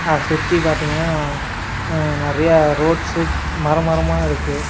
அ சுத்தி பாத்தீங்கன்னா அ நெறைய ரோட்ஸு மரம் மரமா இருக்கு.